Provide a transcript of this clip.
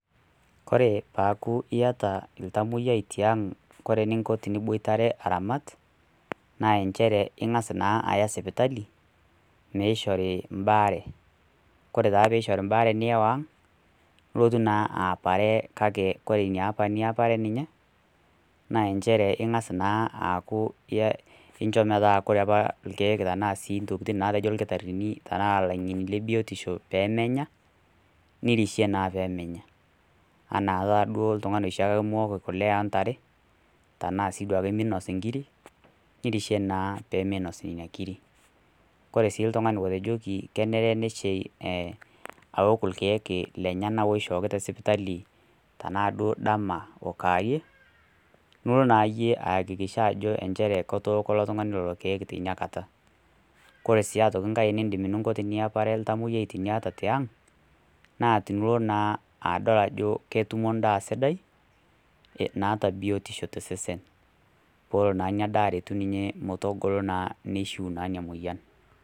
Kore peeaku iata oltamwoiyiai tiang' kore eninko pee iramat, naa enchere ing'as naa aya sipitali, neishori imbaare, kore naa pee eishori mbaare nelo ang', nilotu naa aapare kake kore ina apa niapare ninye, naa enchere ing'as naa aaku incho metaa kore ilkeek ashu sii intokitin naatejo ilkitarini, tanaa ilaing'eni nemenya, nirishie naa pee menya, anaa taa duo oltung'ani oshiake lemeok kule oo ntare, tanaa sii duo ake minos inkiri, nirishie naa pee meinos nena kiri. Kore naa otejoki kenare neishee aok ilkeek lenyena oishooki te sipitali tanaa duo dama anaa kaarie, nilo naa iyie aakikisha ajo enchere etooko ilo tung'ani lelo keek teina kata. Kore sii aitoiki kai eninko teniapare oltamwoyiai tiniata tiang' naa tenilo naa adol ketutumo endaa sidai, naata biotisho to sesen peelo naa ina daa aretu ninye metogolo ninye neishuu naa ina moyian.